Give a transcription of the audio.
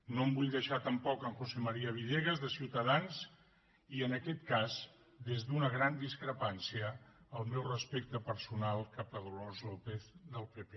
no em vull deixar tampoc en josé manuel villegas de ciutadans i en aquest cas des d’una gran discrepància el meu respecte personal cap a dolors lópez del pp